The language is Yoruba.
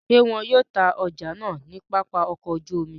Ṣe wọn yoo ta ọja naa ni Papa ọkọ oju omi?